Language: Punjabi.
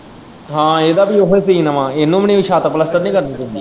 ਹਾਂ ਇਹਦਾ ਵੀ ਉਹੋਂ ਹੀ ਸੀਨ ਵਾ ਇਹਨੂੰ ਵੀ ਨੀ ਛੱਤ ਪਲੱਸਤਰ ਨੀ ਕਰਨੀ ਪੈਂਦੀ।